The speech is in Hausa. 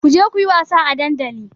Ku je ku yi wasa a dandali!